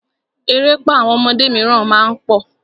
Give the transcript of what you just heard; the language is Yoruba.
Erépá àwọn ọmọdé míràn má ń pọ̀.